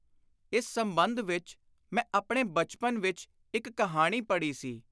ਇਸ ਸੰਬੰਧ ਵਿਚ ਮੈਂ ਆਪਣੇ ਬਚਪਨ ਵਿਚ ਇਕ ਕਹਾਣੀ ਪੜ੍ਹੀ ਸੀ।